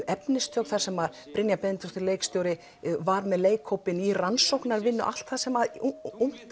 efnistök sem Brynjar Benediktsson leikstjóri var með leikhópinn í rannsóknarvinnu allt sem ungt